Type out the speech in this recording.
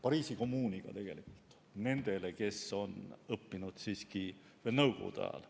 Pariisi Kommuuniga nendel, kes on õppinud veel nõukogude ajal.